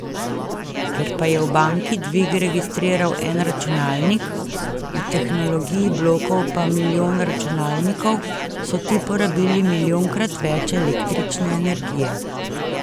Ker pa je v banki dvig registriral en računalnik, v tehnologiji blokov pa milijon računalnikov, so ti porabili milijonkrat več električne energije.